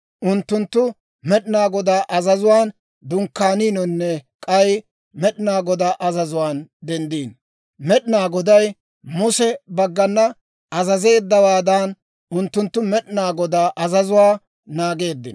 Unttunttu Med'inaa Godaa azazuwaan dunkkaaniinonne k'ay Med'inaa Godaa azazuwaan denddino; Med'inaa Goday Muse baggana azazeeddawaadan, unttunttu Med'inaa Godaa azazuwaa naageeddino.